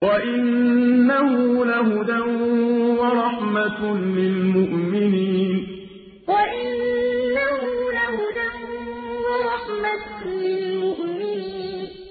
وَإِنَّهُ لَهُدًى وَرَحْمَةٌ لِّلْمُؤْمِنِينَ وَإِنَّهُ لَهُدًى وَرَحْمَةٌ لِّلْمُؤْمِنِينَ